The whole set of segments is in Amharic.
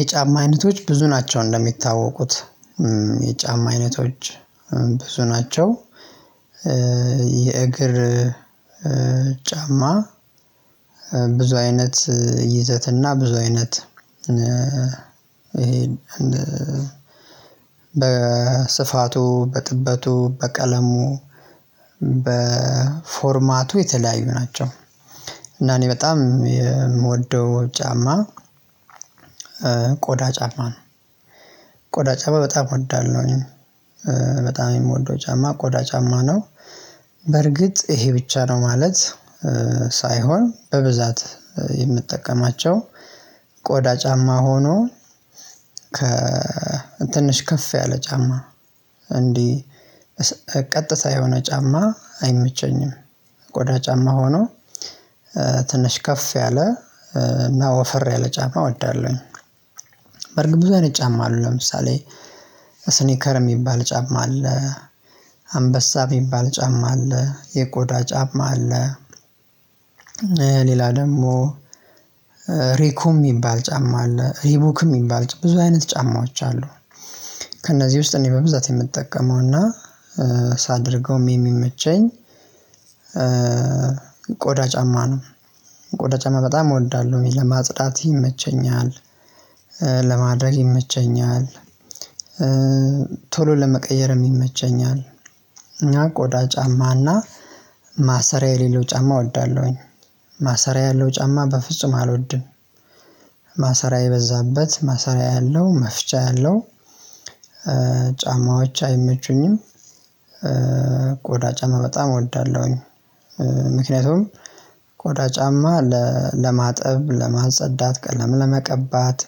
የጫማ አይነቶች ብዙ ናቸው እንደሚታወቁት የጫማ አይነቶች ብዙ ናቸው። የእግር ጫማ ብዙ አይነት ይዘትና ብዙ አይነት። ይሄ በ በስፋቱ በጥበቱ በቀለሙ በፎርማቱ የተለያዩ ናቸው። እና እኔ በጣም የምወደው ጫማ ቆዳ ጫማ ነው። ቆዳ ጫማ በጣም እወዳለሁኝ። በጣም የምወደው ጫማ ቆዳ ጫማ ነው። በርግጥ ይሄ ብቻ ነው ማለት ሳይሆን በብዛት የምጠቀማቸው ቆዳ ጫማ ሆኖ ከ ትንሽ ከፍ ያለ ጫማ። እንዲህ ቀጥታ የሆነ ጫማ አይመቸኝም። ቆዳ ጫማ ሆኖ ትንሽ ከፍ ያለ እና ወፈር ያለ ጫማ እወዳለሁኝ። በርግጥ ብዙ አይነት ጫማ አሉ ለምሳሌ ስኒከር የሚባል ጫማ አለ አንበሳ የሚባል ጫማ አለ የቆዳ ጫማ አለ። ሌላ ደግሞ ሬኩም የሚባል ጫማ አለ ሪቡክም የሚባል ብዙ አይነት ጫማዎች አሉ። ከእነዚህ ውስጥ እኔ በብዛት የምጠቀመው እና ሳደርገው የሚመቸኝ ቆዳ ጫማ ነው። ቆዳ ጫማ በጣም እወዳለሁ ወይ ለማጽዳት ይመቸኛል። ለማድረግ ይመቸኛል። ቶሎ ለመቀየርም ይመቸኛል። እና ቆዳ ጫማና ማሰሪያ የሌለው ጫማ እወዳለሁኝ። ማሰሪያ ያለው ጫማ በፍጹም አልወድም። ማሰሪያ የበዛበት ማሰሪያ ያለው መፍቻ ያለው ጫማዎች አይመቹኝም። ቆዳ ጫማ በጣም እወዳለሁኝ። ምክንያቱም ቆዳ ጫማ ለማጥብ ለማጸዳት ቀለም ለመቀባት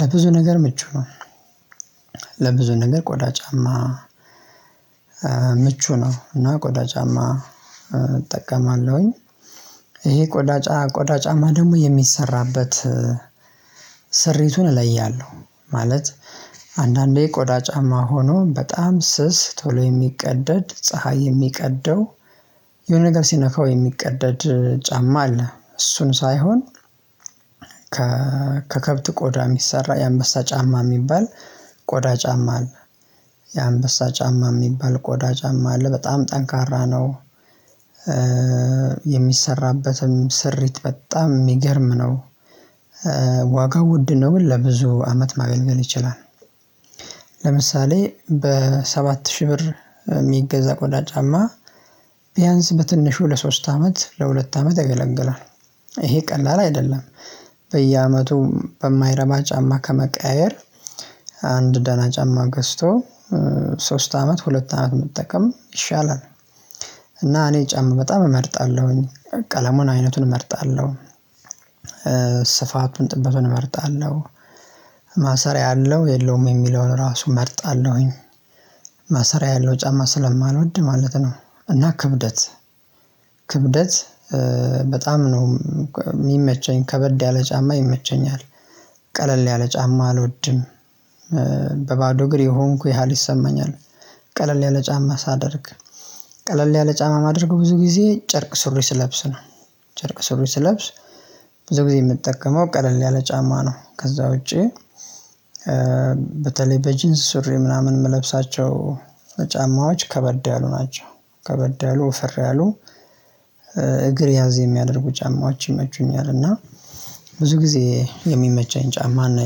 ለብዙ ነገር ምቹ ነው። ለብዙ ነገር ቆዳ ጫማ ምቹ ነው እና ቆዳ ጫማ እጠቀማለሁኝ። ይሄ ቆዳ ጫማ ቆዳ ጫማ ደግሞ የሚሰራበት ስሪቱን እለያለሁ። ማለት አንዳንዴ ቆዳ ጫማ ሆኖ በጣም ስስ ቶሎ የሚቀደድ ፀሀይ የሚቀደው የሆነ ነገር ሲነካው የሚቀደድ ጫማ አለ። እሱን ሳይሆን ከከብት ቆዳ የሚሰራ የአንበሳ ጫማ የሚባል ቆዳ ጫማ አለ። የአንበሳ ጫማ የሚባል ቆዳ ጫማ አለ በጣም ጠንካራ ነው። የሚሰራበትም ስሪት በጣም የሚገርም ነው። ዋጋው ውድ ነው ለብዙ አመት ማገልገል ይችላል። ለምሳሌ በሰባት ሺህ ብር የሚገዛ ቆዳ ጫማ ቢያንስ በትንሹ ለሶስት አመት ለሁለት አመት ያገለግላል። ይሄ ቀላል አይደለም። በየአመቱ በማይረባ ጫማ ከመቀያየር አንድ ደህና ጫማ ገዝቶ ሶስት አመት ሁለት አመት መጠቀም ይሻላል። እና እኔ ጫም በጣም እመርጣለሁኝ ቀለሙን አይነቱን እመርጣለሁ። ስፋቱን ጥበቱን እመርጣለሁ። ማሰሪያ አለው የለውም የሚለውን ራሱ እመርጣለሁኝ። ማሰሪያ ያለው ጫማ ስለማልወድ ማለት ነው። እና ክብደት በጣም ነው የሚመቸኝ ከበድ ያለ ጫማ ይመቸኛል። ቀለል ያለ ጫማ አልወድም። በባዶ እግሬ የሆንኩ ያህል ይሰማኛል። ቀለል ያለ ጫማ ሳደርግ ቀለል ያለ ጫማ ማደርግ ብዙ ጊዜ ጨርቅ ስር ስለብስ ነው። ጨርቅ ስር ስለብስ ብዙ ጊዜ የምጠቀመው ቀለል ያለ ጫማ ነው ከዛ ውጪ። በተለይ በጂንስ ሱሪ ምናምን የምለብሳቸው ጫማዎች ከበደ ያሉ ናቸው። ከበደ ያሉ ውፍር ያሉ እግር ያዝ የሚያደርጉ ጫማዎች ይመቹኛል። እና ብዙ ጊዜ የሚመቸኝ ጫማ ነው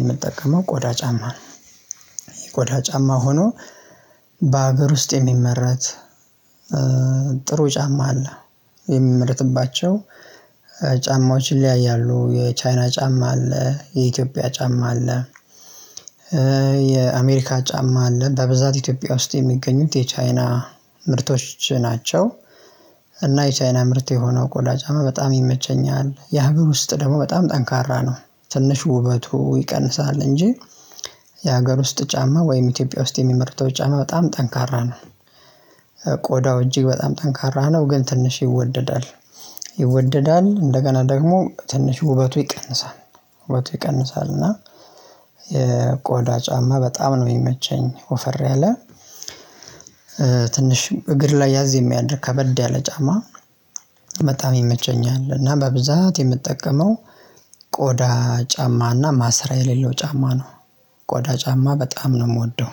የምጠቀመው ቆዳ ጫማ ነው። የቆዳ ጫማ ሆኖ በሀገር ውስጥ የሚመረት ጥሩ ጫማ አለ። የሚመረትባቸው ጫማዎችን ይለያያሉ የቻይና ጫማ አለ የኢትዮጵያ ጫማ አለ። የአሜሪካ ጫማ አለ በብዛት ኢትዮጵያ ውስጥ የሚገኙት የቻይና ምርቶች ናቸው። እና የቻይና ምርት የሆነው ቆዳ ጫማ በጣም ይመቸኛል የሀገር ውስጥ ደግሞ በጣም ጠንካራ ነው። ትንሽ ውበቱ ይቀንሳል እንጂ የሀገር ውስጥ ጫማ ወይም ኢትዮጵያ ውስጥ የሚመርተው ጫማ በጣም ጠንካራ ነው። ቆዳው እጅግ በጣም ጠንካራ ነው ግን ትንሽ ይወደዳል። ይወደዳል እንደገና ደግሞ ትንሽ ውበቱ ይቀንሳል። ውበቱ ይቀንሳል እና የቆዳ ጫማ በጣም ነው የሚመቸኝ። ወፈር ያለ ትንሽ እግር ላይ ያዝ የሚያድር ከበድ ያለ ጫማ በጣም ይመቸኛል። እና በብዛት የምትጠቀመው ቆዳ ጫማ እና ማስራ የሌለው ጫማ ነው። ቆዳ ጫማ በጣም ነው የምወደው